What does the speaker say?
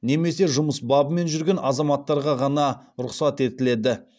немесе жұмыс бабымен жүрген азаматтарға ғана рұқсат етіледі